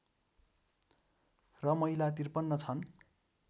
र महिला ५३ छन्